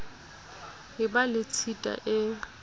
e ba le tshita e